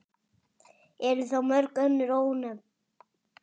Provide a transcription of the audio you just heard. Eru þá mörg önnur ónefnd.